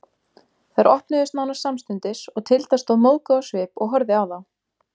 Þær opnuðust nánast samstundis og Tilda stóð móðguð á svip og horfði á þá.